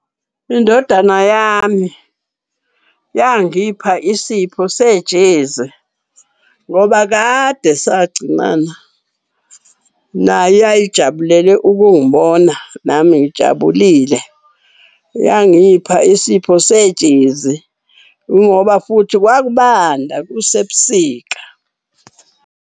Indodana yami yangipha isipho sejezi ngoba kade sagcinana, nayo yayijabulele ukungibona nami ngijabulile. Yangipha isipho sejezi ingoba futhi kwakubanda kusebusika.